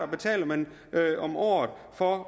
betaler man om året for at